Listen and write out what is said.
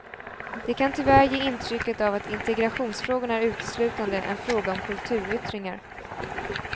Det kan tyvärr ge intrycket av att integrationsfrågorna är uteslutande en fråga om kulturyttringar.